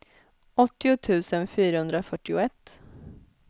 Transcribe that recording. åttio tusen fyrahundrafyrtioett